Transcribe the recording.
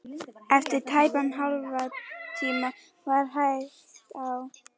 Eftir tæpan hálftíma var hægt á.